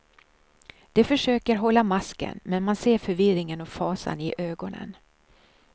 De försöker hålla masken, men man ser förvirringen och fasan i ögonen.